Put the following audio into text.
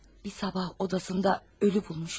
Bir sabah odasında ölü bulmuşlar.